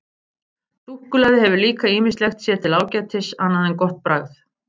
Súkkulaði hefur líka ýmislegt sér til ágætis annað en gott bragð.